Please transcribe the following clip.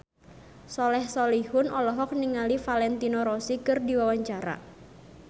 Soleh Solihun olohok ningali Valentino Rossi keur diwawancara